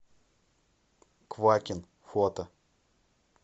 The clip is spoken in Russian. квакин фото